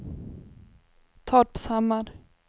Torpshammar